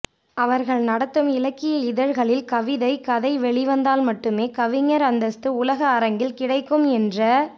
அவர்கள் நடத்தும் இலக்கிய இதழ்களில் கவிதை கதை வெளிவந்தால் மட்டுமே கவிஞர் அந்தஸ்த்து உலக அரங்கில் கிடைக்கும் என்ற